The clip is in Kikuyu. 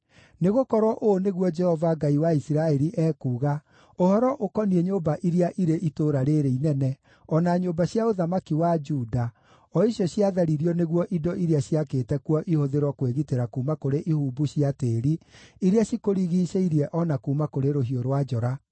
Nĩgũkorwo ũũ nĩguo Jehova, Ngai wa Isiraeli, ekuuga ũhoro ũkoniĩ nyũmba iria irĩ itũũra rĩĩrĩ inene, o na nyũmba cia ũthamaki wa Juda o icio ciatharirio nĩguo indo iria ciakĩte kuo ihũthĩrwo kwĩgitĩra kuuma kũrĩ ihumbu cia tĩĩri iria cikũrigiicĩirie o na kuuma kũrĩ rũhiũ rwa njora,